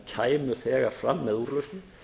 menn kæmu þegar fram með úrlausnir